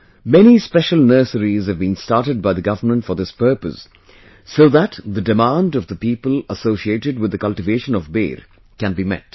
Many special nurseries have been started by the government for this purpose so that the demand of the people associated with the cultivation of Ber can be met